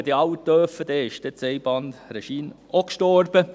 Wenn dies alle dürfen, dann ist das Einbahnregime auch gestorben.